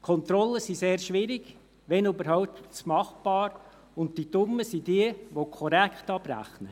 Kontrollen sind sehr schwierig, wenn überhaupt machbar, und die Dummen sind jene, die korrekt abrechnen.